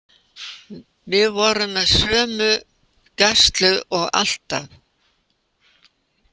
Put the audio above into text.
Við vorum með sömu gæslu og alltaf.